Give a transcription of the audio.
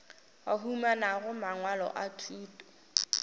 ba humanago mangwalo a thuto